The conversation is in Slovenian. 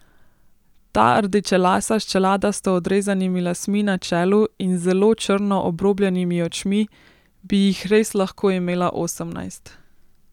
Ta rdečelasa s čeladasto odrezanimi lasmi na čelu in z zelo črno obrobljenimi očmi bi jih res lahko imela osemnajst.